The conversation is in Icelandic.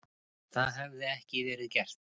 Það hefði ekki verið gert.